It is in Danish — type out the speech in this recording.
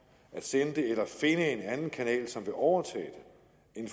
at sende det eller finde en anden kanal som vil overtage